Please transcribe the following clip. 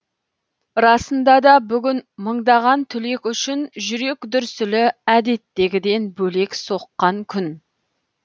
расында да бүгін мыңдаған түлек үшін жүрек дүрсілі әдеттегіден бөлек соққан күн